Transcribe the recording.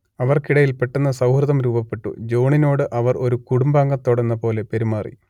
അവർക്കിടയിൽ പെട്ടെന്ന് സൗഹൃദം രൂപപ്പെട്ടു ജോൺണോട് അവർ ഒരു കുടുംബാംഗത്തോടെന്നപോലെ പെരുമാറി